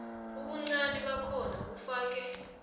ubuncani bakhona ufake